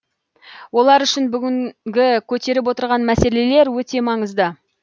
олар үшін бүгінгі көтеріп отырған мәселелер өте маңызды